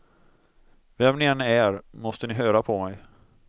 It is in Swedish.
Vem ni än är, måste ni höra på mig.